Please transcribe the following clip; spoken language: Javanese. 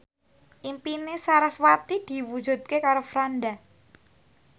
impine sarasvati diwujudke karo Franda